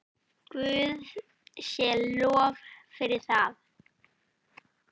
Guði sé lof fyrir það.